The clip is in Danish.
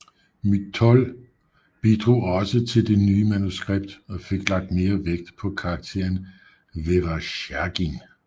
Motyl bidrog også til det nye manuskript og fik lagt mere vægt på karakteren Veresjagin